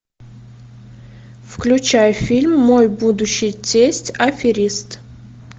включай фильм мой будущий тесть аферист